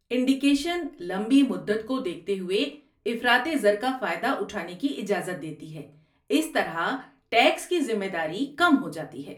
Indexation لمبی مدت کو دیکھتے ہوئے افراطِ زر کا فائدہ اٹھانے کی اجازت دیتی ہے، اس طرح ٹیکس کی ذمہ داری کم ہو جاتی ہے۔